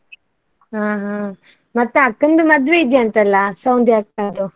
ಹಾ ಹಾ, ಮತ್ತೆ ಅಕ್ಕಂದು ಮದ್ವೆ ಇದೆ ಅಂತಲ್ಲ ಅಕ್ಕಂದು.